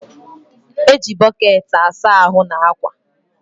E ji bọkeetị asa ahụ na akwa.